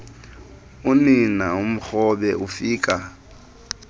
unina amkrobe ufika